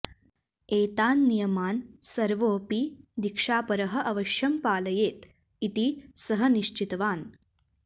एतान् नियमान् सर्वोऽपि दीक्षापरः अवश्यं पालयेत् इति सः निश्चितवान्